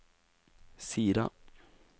Sira